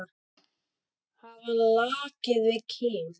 Hafa lakið við kinn.